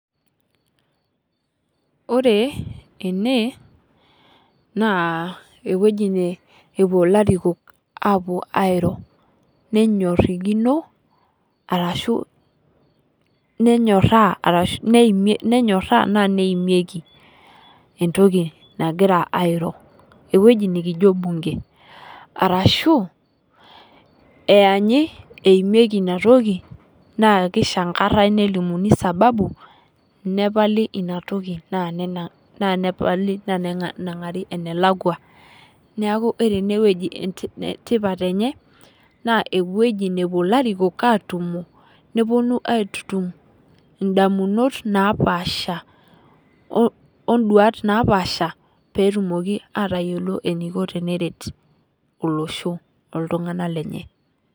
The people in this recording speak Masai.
Ore ene naa eweji napuo ilarikook apuo airo nenyerikino arashu nenyoraa naa neimieki entoki nagira airo. Eweji nikijo bunge arashu eyaanyi eimieki ina toki naa kishankarae nilimuni sababu nepali ina toki naa neng'ari enelakua. Niaku ore eneweji tipat enye naa eweji napuo ilarikook atumo nepuonu aitutum idamunot naapasha oduat napaasha petumoki atayiolo eniko teneret olosho oltung'ana lenye.